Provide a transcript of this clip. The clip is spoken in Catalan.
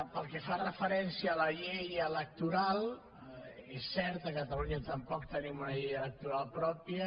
pel que fa referència a la llei electoral és cert a catalunya tampoc tenim una llei electoral pròpia